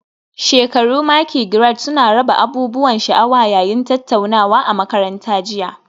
Shekaru maki Grades suna raba abubuwan sha'awa yayin tattaunawa a makaranta jiya